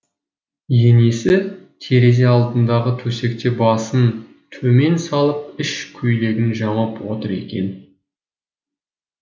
енесі терезе алдындағы төсекте басын төмен салып іш көйлегін жамап отыр екен